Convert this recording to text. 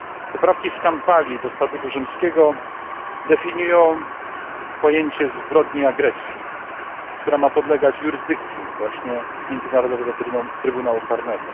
Poprawki z Kampali do Statutu Rzymskiego definiują pojęcie zbrodni agresji, która ma podlegać jurysdykcji właśnie Międzynarodowego Trybunału Karnego.